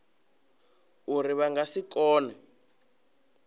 uri vha nga si kone